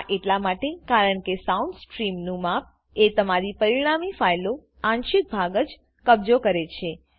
આ એટલા માટે કારણકે સાઉન્ડ સ્ટ્રીમનું માપ એ તમારી પરિણામી ફાઈલો આંશિક ભાગ જ કબજો કરે છે